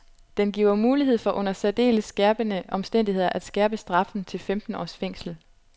Den giver mulighed for under særdeles skærpende omstændigheder at skærpe straffen til femten års fængsel.